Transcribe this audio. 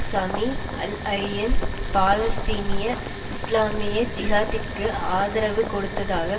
Sami Al Arian பாலஸ்தீனிய இஸ்லாமிய ஜிஹாத்திற்கு ஆதரவு கொடுத்ததாக